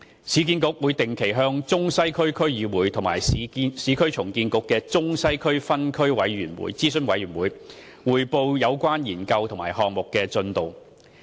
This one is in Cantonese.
市建局會定期向中西區區議會及市建局中西區分區諮詢委員會匯報有關研究及項目的進度。